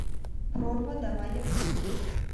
прорва давай я посмотрю